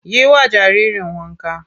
Yi wa jaririn wanka!